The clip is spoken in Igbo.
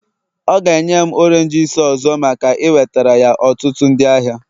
ọ ga-enye m oranges ọzọ maka iwetara ya ọtụtụ ndị ahịa